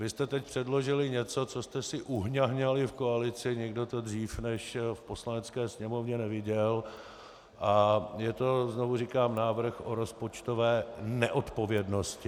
Vy jste teď předložili něco, co jste si uhňahňali v koalici, nikdo to dříve než v Poslanecké sněmovně neviděl - a je to, znovu říkám, návrh o rozpočtové neodpovědnosti.